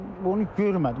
Mən bunu görmədim.